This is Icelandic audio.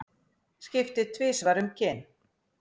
Skipti tvisvar um kyn